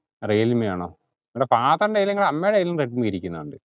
Realme ആന്നോ. എട father nt അമ്മേടെ കയ്യിലും റെഡ്‌മി ഇരിക്കുന്നുണ്ട്